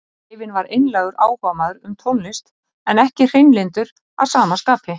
Greifinn var einlægur áhugamaður um tónlist en ekki hreinlyndur að sama skapi.